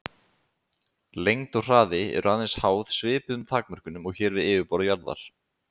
Lengd og hraði eru aðeins háð svipuðum takmörkunum og hér við yfirborð jarðar.